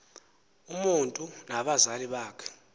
umotu nabazali bakhe